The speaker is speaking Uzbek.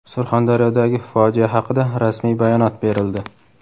Surxondaryodagi fojia haqida rasmiy bayonot berildi.